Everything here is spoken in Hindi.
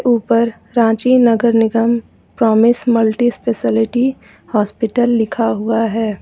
ऊपर रांची नगर निगम प्रॉमिस मल्टी स्पेशलिटी हॉस्पिटल लिखा हुआ है।